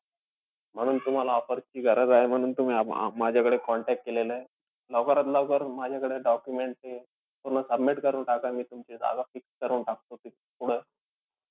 म्हणून तुम्हाला offer ची गरज आहे, म्हणून तुम्ही माझ्याकडे contact केलेलाय. लवकरात लवकर माझ्याकडे documents पूर्ण submit करून टाका. मी तुमची जागा fix करवून टाकतो पुढं.